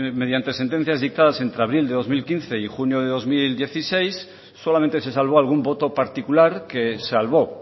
mediante sentencias dictadas entre abril de dos mil quince y junio de dos mil dieciséis solamente se salvó algún voto particular que salvó